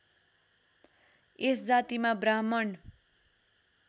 यस जातिमा ब्राह्मण